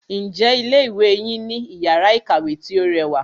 Ǹjẹ́ ilé ìwé yín ní iyàrá ìkàwé tí o rẹwà?